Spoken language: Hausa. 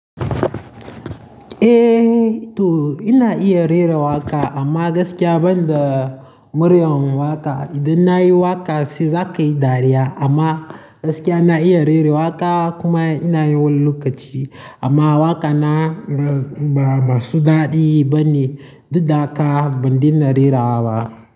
Eh to ina iya rera waƙa amma gaskiya ban da muryar waƙa. Idan na yi waƙa za ka yi dariya amma gaskiya na iya rera waƙa kuma ina yi wani lokaci. Amma waƙana ba masu daɗi ba ne. Duk da haka, ban daina rerawa ba.